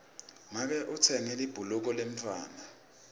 make utsenge libhuluka lemntfwana